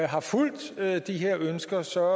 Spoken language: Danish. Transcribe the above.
har fulgt de her ønsker så